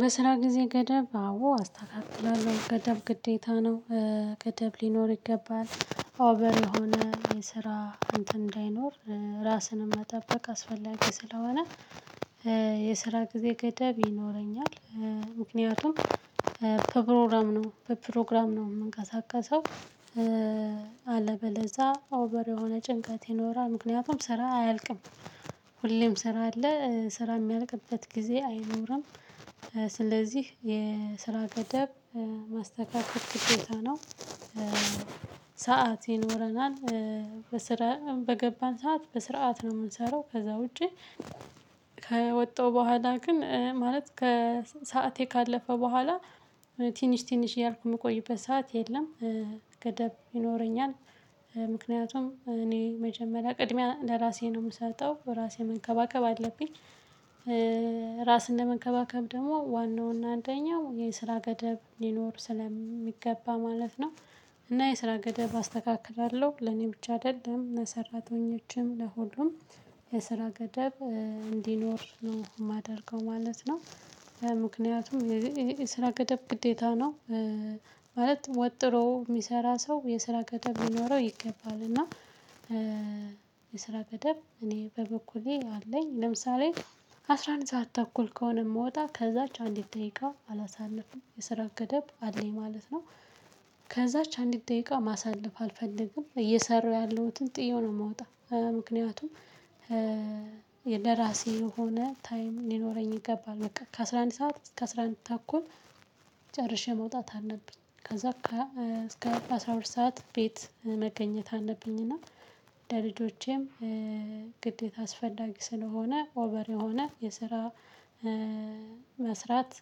በስራ ጊዜ ገደብ አዎ አስተካክላለሁ ገደብ ግዴታ ነው። ገደብ ሊኖር ይገባል ኦቨር የሆነ የስራ እንትን እንዳይኖር ራስንም መጠበቅ አስፈላጊ ስለሆነ። የስራ ጊዜ ገደብ ይኖረኛል ምክንያቱም ከፕሮግራም ነው በፕሮግራም ነው የምንቀሳቀሰው። አለበለዛ ኦቨር የሆነ ጭንቀት ይኖራል ምክንያቱም ስራ አያልቅም። ሁሌም ስራ አለ ስራ የሚያልቅበት ጊዜ አይኖርም። ስለዚህ የስራ ገደብ ማስተካከል ግዴታ ነው። ሰዓት ይኖረናል በስራ በገባን ሰዓት በስርዓት ነው የምንሰራው ከዛ ውጪ። ከወጣሁ በኋላ ግን ማለት ሰዓቴ ካለፈ በኋላ ትንሽ ትንሽ እያልኩ የምቆይበት ሰዓት የለም። ገደብ ይኖረኛል ምክንያቱም እኔ መጀመሪያ ቅድሚያ ለራሴ ነው የምሰጠው ራሴን መንከባከብ አለብኝ። ራስን ለመንከባከብ ደግሞ ዋናውና አንደኛው የስራ ገደብ ሊኖር ስለሚገባ ማለት ነው። እና የስራ ገደብ አስተካክላለሁ ለኔ ብቻ አይደለም ለሰራተኞችም ለሁሉም የስራ ገደብ እንዲኖር ነው የማደርገው ማለት ነው። ምክንያቱም የስራ ገደብ ግዴታ ነው። ማለት ወጥሮ የሚሰራ ሰው የስራ ገደብ ሊኖረው ይገባል እና። የስራ ገደብ እኔ በበኩሌ አለኝ ለምሳሌ አስራ አንድ ሰዓት ተኩል ከሆነ የምወጣ ከዛች አንዲት ደቂቃ አላሳልፍም የስራ ገደብ አለኝ ማለት ነው። ከዛች አንዲት ደቂቃ ማሳለፍ አልፈልግም እየሰራሁ ያለሁትን ጥየው ነው የምወጣው ምክንያቱም። ለራሴ የሆነ ታይም ሊኖረኝ ይገባል በቃ ከአስራ አንድ ሰዓት እስከ አስራ አንድ ተኩል። ጨርሼ መውጣት አለብኝ ከዛ በኋላ እስከ አስራ ሁለት ሰዓት ቤት መገኘት አለብኝ። እና ለልጆቼም ግዴታ አስፈላጊ ስለሆነ ኦቨር የሆነ የስራ መስራት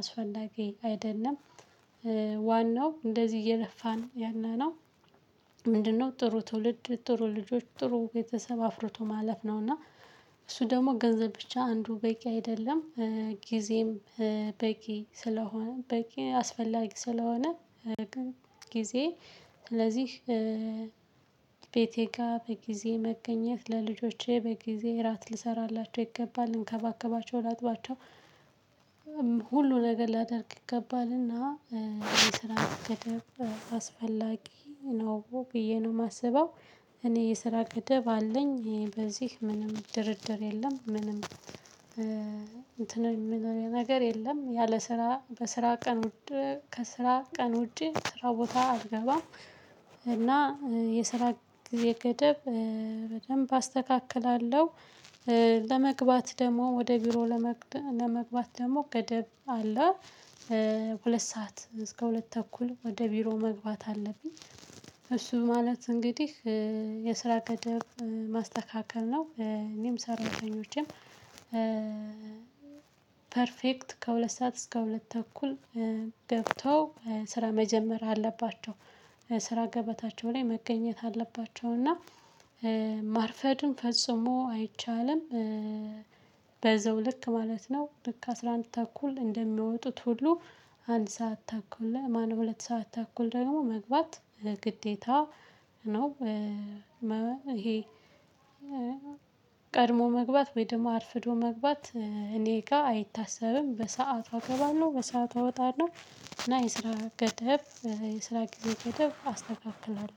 አስፈላጊ አይደለም። ዋናው እንደዚህ እየለፋን ያለነው ምንድነው? ጥሩ ትውልድ ጥሩ ልጆች ጥሩ ቤተሰብ አፍርቶ ማለፍ ነውና እሱ ደግሞ ገንዘብ ብቻ አንዱ በቂ አይደለም። ጊዜም በቂ ስለሆነ በቂ አስፈላጊ ስለሆነ። ጊዜ ስለዚህ ቤቴ ጋር በጊዜ መገኘት ለልጆቼ በጊዜ እራት ልሰራላቸው ይገባል ልንከባከባቸው ላጥባቸው ሁሉ ነገር ላደርግ ይገባልና። የስራ ገደብ አስፈላጊ ነው ብዬ ነው የማስበው። እኔ የስራ ገደብ አለኝ በዚህ ምንም ድርድር የለም ምንም እንትን የምለው ነገር የለም ያለ ስራ በስራ ቀን። ከስራ ቀን ውጭ ስራ ቦታ አልገባም። እና የስራ ገደብ በደንብ አስተካክላለሁ። ለመግባት ደግሞ ወደ ቢሮ ለመግባት ደግሞ ገደብ አለ። ሁለት ሰዓት እስከ ሁለት ተኩል ወደ ቢሮ መግባት አለብኝ። እሱ ማለት እንግዲህ የስራ ገደብ ማስተካከል ነው እኔም ሰራተኞቼም። ፐርፌክት ከሁለት ሰዓት እስከ ሁለት ተኩል ገብተው ስራ መጀመር አለባቸው። ስራ ገበታቸው ላይ መገኘት አለባቸው እና ማርፈድም ፈጽሞ አይቻልም። በዛው ልክ ማለት ነው ልክ አስራ አንድ ተኩል እንደሚወጡት ሁሉ አንድ ሰዓት ተኩል ለማን ሁለት ሰዓት ተኩል ደግሞ መግባት ግዴታ ነው። ይሄ ቀድሞ መግባት ወይ ደግሞ አርፍዶ መግባት እኔ ጋር አይታሰብም በሰአቷ እገባለሁ በሰአቷ እወጣለሁ። እና የስራ ገደብ የስራ ጊዜ ገደብ አስተካክላለሁ